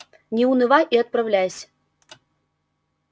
не унывай и отправляйся